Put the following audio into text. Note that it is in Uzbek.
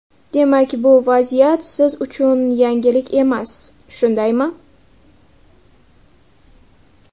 Demak bu vaziyat siz uchun yangilik emas, shundaymi?